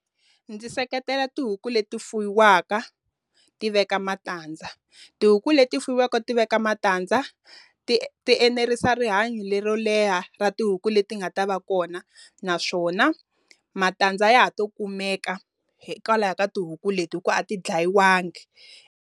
Ndzi seketela tihuku leti fuwiwaka, ti veka matandza. Tihuku leti fuwiwaka ti veka matandza, ti ti enerisa rihanyo lero leha ra tihuku leti nga ta va kona. Naswona matandza ya ha to kumeka hikwalaho ka tihuku leti hikuva a ti ndlayiwangi.